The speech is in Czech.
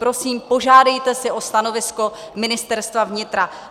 Prosím, požádejte si o stanovisko Ministerstva vnitra.